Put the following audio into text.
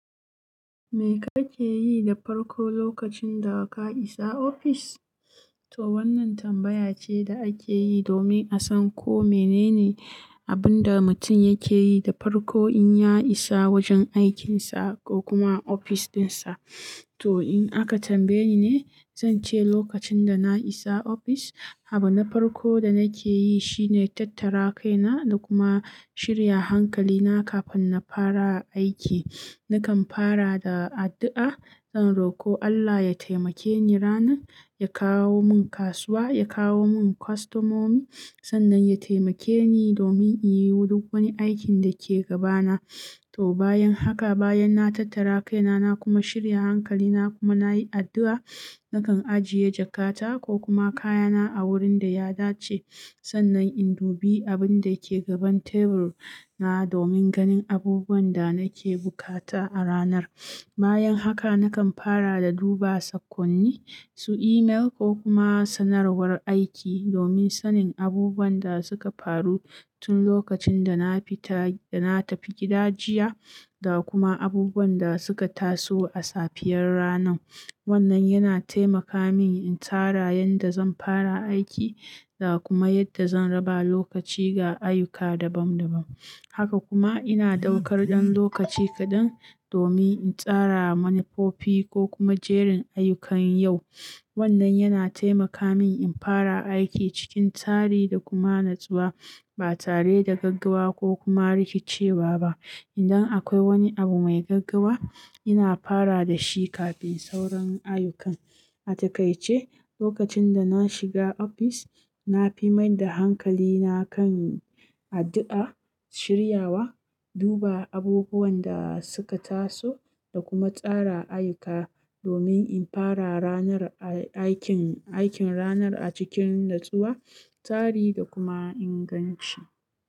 "Me kake yi da farko lokacin da ka isa ofis?" To wannan tambaya ce da ake yi domin a san ko menene abin da mutum yake yi da farko in ya isa wajen aikinsa ko kuma ofis dinsa. To in aka tambaye ni ne, zan ce lokacin da na isa ofis, abin na farko da nake yi shine tattara kaina da kuma shirya hankalina kafin na fara aiki. Nakan fara da addu'a, zan roko Allah ya taimake ni ranar, ya kawo mun kasuwa, ya kawo mun kwastomomi, sannan ya taimake ni domin in yi duk wani aikin da ke gabana. To bayan haka, bayan na tattara kaina na kuma shirya hankalina kuma na yi addu'a, nakan ajiye jakata ko kuma kayana a wurin da ya dace. Sannan in dubi abin da ke gaban tebur na domin ganin abubuwan da nake bukata a ranar. Bayan haka nakan fara da duba saƙonni, su email ko kuma sanarwar aiki domin sanin abubuwan da suka faru tun lokacin da na fita, da na tafi gida jiya da kuma abubuwan da suka taso a safiyar ranar. Wannan yana taimaka min in tsara yadda zan fara aiki da kuma yadda zan raba lokaci ga ayyuka dabam dabam. Haka kuma ina ɗaukar ɗan lokaci kaɗan domin in tsara manufofi ko kuma jerin ayyukan yau. Wannan yana taimaka min in fara aiki cikin tsari da kuma natsuwa, ba tare da gaggawa ko kuma rikicewa ba. Idan akwai wani abu mai gaggawa, ina fara da shi kafin sauran ayyukan. A takaice, lokacin da na shiga ofis, na fi maida hankalina kan addu'a, shiryawa, duba abubuwan da suka taso da kuma tsara ayyuka domin in fara ranar aikin, aikin ranar a cikin natsuwa, tsari da kuma inganci.